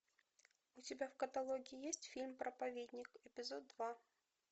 у тебя в каталоге есть фильм проповедник эпизод два